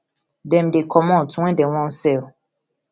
dem dey comot wen dem wan sell